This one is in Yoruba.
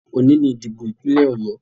Òní ni ìdìbò ìpínlẹ̀ Ọ̀yọ